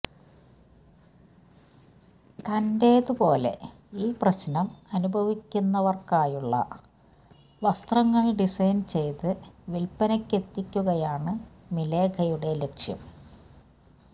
തന്റേതു പോലെ ഈ പ്രശ്നം അനുഭവിക്കുന്നവർക്കായുള്ള വസ്ത്രങ്ങൾ ഡിസൈൻ ചെയ്ത് വിൽപനയ്ക്കെത്തിക്കുകയാണ് മിഖേലയുടെ ലക്ഷ്യം